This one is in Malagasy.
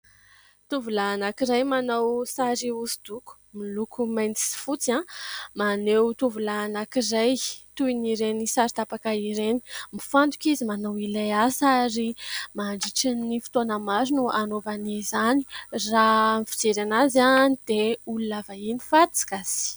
Tovolahy anankiray manao sary hosodoko miloko mainty sy fotsy maneho tovolahy anankiray toin'ireny sary tapaka ireny, mifantoka izy manao ilay asa ary mandritran'ny fotoana maro no anaovany izany, raha ny fijery anazy dia olona vahiny fa tsy gasy.